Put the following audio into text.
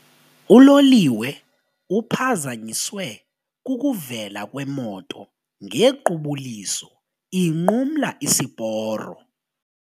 Uloliwe uphazanyiswe kukuvela kwemoto ngequbuliso inqumla isiporo.